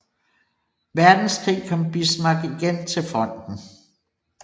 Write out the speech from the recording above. Verdenskrig kom Bismarck igen til fronten